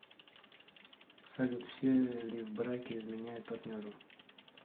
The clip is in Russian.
салют все ли в браке изменяют партнеру